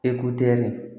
Ekoderi